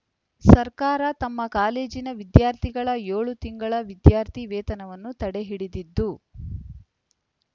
ಸರ್ಕಾರ ತಮ್ಮ ಕಾಲೇಜಿನ ವಿದ್ಯಾರ್ಥಿಗಳ ಏಳು ತಿಂಗಳ ವಿದ್ಯಾರ್ಥಿ ವೇತನವನ್ನು ತಡೆ ಹಿಡಿದಿದ್ದು